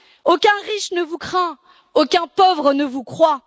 Aucun riche ne vous craint, aucun pauvre ne vous croit.